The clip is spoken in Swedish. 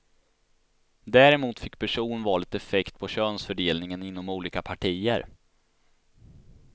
Däremot fick personvalet effekt på könsfördelningen inom olika partier.